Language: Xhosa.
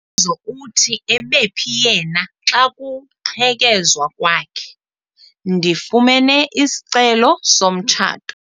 Umbuzo uthi ebephi yena xa kuqhekezwa kwakhe? ndifumene isicelo somtshato